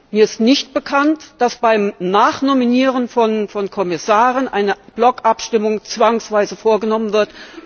Mir ist nicht bekannt, dass beim Nachnominieren von Kommissaren eine Blockabstimmung zwangsweise vorgenommen wird.